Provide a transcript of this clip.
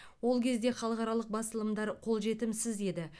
ол кезде халықаралық басылымдар қолжетімсіз еді